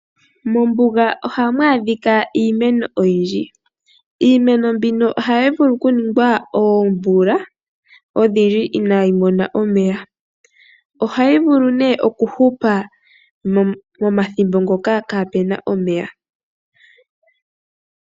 Mombuga ohamu adhika iimeno oyindji. Iimeno mbino ohayi vulu okuninga oomvula odhindji inayi mona omeya. Ohayi vulu nduno okuhupa momathimbo ngoka kaapu na omeya.